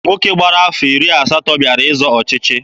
Nwoke gbara afọ iri asatọ bịara ịzọ ọchịchị.